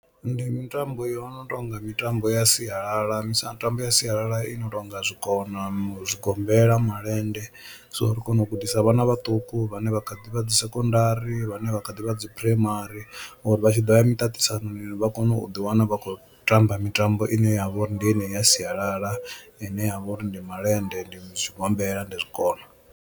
Ndi mitambo yo no tonga mitambo ya sialala mitambo ya sialala yo no tonga zwikona, zwigombela, malende so ri kone u gudisa vhana vhaṱuku vhane vha kha ḓi vha dzi sekondari vhane vha kha ḓi vha dzi phuraimari uri vha tshi ḓo ya miṱaṱisanoni vha kone u ḓi wana vha khou tamba mitambo ine ya vha uri ndi yeneyi ya sialala ine ya vha uri ndi malende, ndi tshigombela, ndi zwikona.